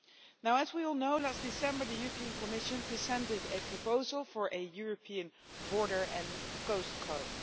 Now, as we all know, last December the Commission presented a proposal for a European border and coast guard.